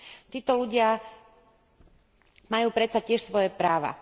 Títo ľudia majú predsa tiež svoje práva.